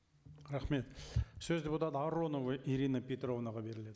рахмет сөз депутат аронова ирина петровнаға беріледі